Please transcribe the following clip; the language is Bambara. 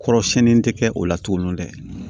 Kɔrɔsiyɛnni tɛ kɛ o la tuguni dɛ